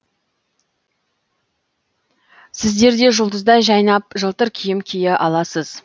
сіздер де жұлдыздай жайнап жылтыр киім кие аласыз